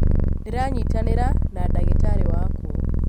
Ndĩranyitanĩra na ndagĩtarĩ waku